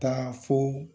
Taa fo